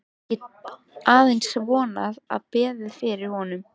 Ég get aðeins vonað og beðið fyrir honum.